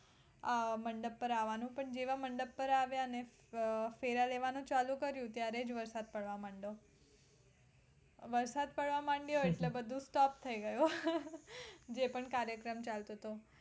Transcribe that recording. અમ મંડપ પર આવવાનું પણ જેવા મંડપ પર આવ્યા ને અમ ફેરા લેવાનું ચાલુ કર્યું ત્યારે જ વરસાદ પડવા મંડ્યો વરસાદ પડવા મંડ્યો એટલે બધું stop થય ગયું જે પણ કાર્યક્રમ ચાલતો હતો